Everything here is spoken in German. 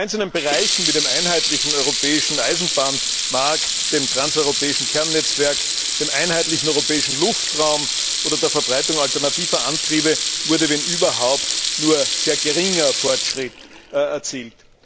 Bei einzelnen Bereichen wie dem einheitlichen europäischen Eisenbahnmarkt, dem transeuropäischen Kernnetzwerk, dem einheitlichen europäischen Luftraum oder der Verbreitung alternativer Antriebe wurde, wenn überhaupt, nur sehr geringer Fortschritt erzielt.